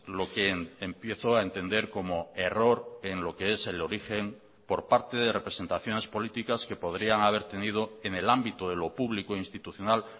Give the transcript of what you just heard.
lo que empiezo a entender como error en lo que es el origen por parte de representaciones políticas que podrían haber tenido en el ámbito de lo público institucional